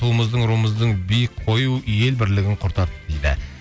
туымыздың руымыздың биік қою ел бірлігін құртады дейді